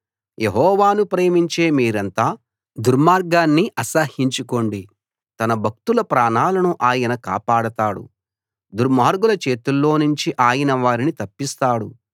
యెహోవాను ప్రేమించే మీరంతా దుర్మార్గాన్ని అసహ్యించుకోండి తన భక్తుల ప్రాణాలను ఆయన కాపాడతాడు దుర్మార్గుల చేతిలోనుంచి ఆయన వారిని తప్పిస్తాడు